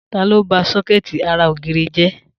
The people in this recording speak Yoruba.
Ta ló ba sọ́kẹ̀tì ara ògiri jẹ?